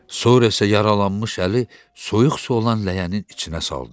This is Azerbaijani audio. Sonra isə yaralanmış əli soyuq su olan ləyənin içinə saldı.